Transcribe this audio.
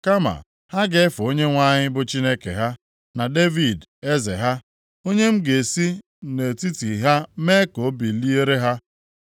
Kama ha ga-efe Onyenwe anyị bụ Chineke ha, na Devid eze ha, onye m ga-esi nʼetiti ha mee ka o biliere ha.